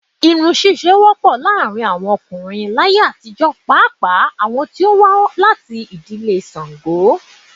Irun ṣíṣe wọ́pọ̀ láàárín àwọn ọkùnrin láyé àtijó pàápàá àwọn to wá láti ìdílé ṣango.